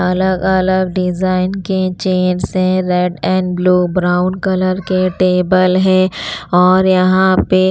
अलग-अलग डिज़ाइन के चेयर्स हैं red and blue brown colour के टेबल है और यहाँ पे--